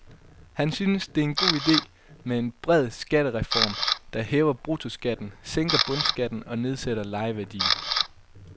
Han synes, det er en god idé med en bred skattereform, der hæver bruttoskatten, sænker bundskatten og nedsætter lejeværdien.